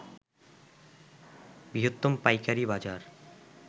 বৃহত্তম পাইকারি বাজার